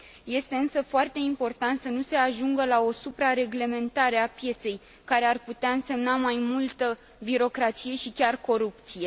Este însă foarte important să nu se ajungă la o supra reglementare a pieței, care ar putea însemna mai multă birocrație și chiar corupție.